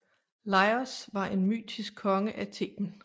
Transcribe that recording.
Laïos var en mytisk konge af Theben